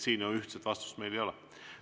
Siin meil ühtset vastust ei ole.